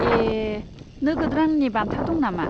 ए, नोगोद रांनि बान्था दं नामा?